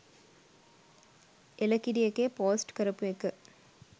එලකිරි එකේ පෝස්ට් කරපු එක